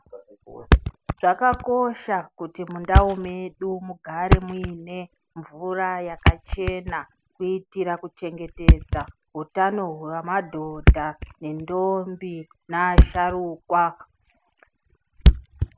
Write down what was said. Zvakakosha kuti mundau medu mugare muine mvura yakachena kuitira kuchengetedza utano hwemadhodha nentombi neasharukwa.